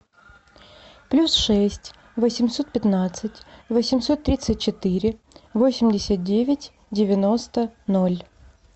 плюс шесть восемьсот пятнадцать восемьсот тридцать четыре восемьдесят девять девяносто ноль